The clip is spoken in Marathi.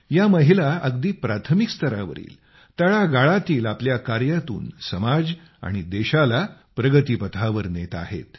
या महिला अगदी प्राथमिक स्तरावरील तळागाळातील आपल्या कार्यातून समाज आणि देशाला प्रगती पथावर नेत आहेत